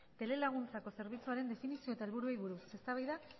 telelaguntzako zerbitzuaren definizio eta helburuei buruz eztabaida